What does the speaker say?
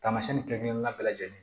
Taamasiyɛn kelen-kelen na bɛɛ lajɛlen